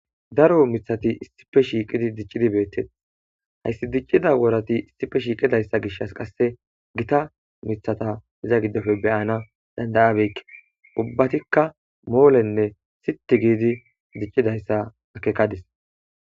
Daro mithati issife shiiqidi diccidi beettet hayssi diccida woorati issife shiiqidayssa gishas qasse gita mithata iza giddofe beyana dandayabekke ubbatikka moolenne siti giidi diccidayssa akekadis.